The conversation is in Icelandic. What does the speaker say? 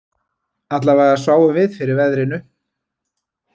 Allavega sváfum við fyrir veðrinu